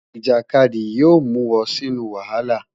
Ijakadi yoo mu ọ sinu wahala.